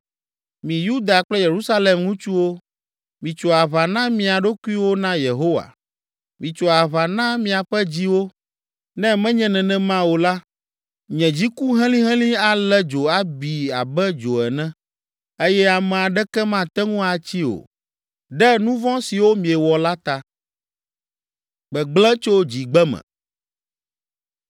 Mi Yuda kple Yerusalem ŋutsuwo, mitso aʋa na mia ɖokuiwo na Yehowa. Mitso aʋa na miaƒe dziwo, ne menye nenema o la, nye dziku helĩhelĩ alé dzo abi abe dzo ene eye ame aɖeke mate ŋu atsii o, ɖe nu vɔ̃ siwo miewɔ la ta.”